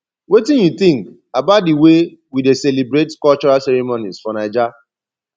wetin you think about di way wey we dey celebrate cultural ceremonies for naija